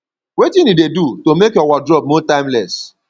wetin you dey do to make your wardrobe more timeless